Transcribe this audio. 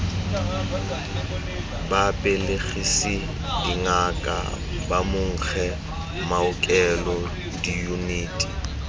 babelegisi dingaka bomankge maokelo diyuniti